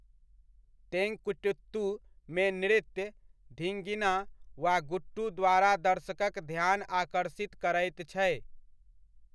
तेंकुटित्तु मे नृत्य 'धींगिना' वा 'गुट्टू' द्वारा दर्शकक ध्यान आकर्षित करैत छै।